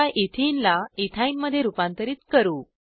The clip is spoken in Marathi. आता एथेने ला इथिन मध्ये रुपांतरीत करू